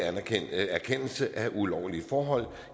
erkendelse af ulovlige forhold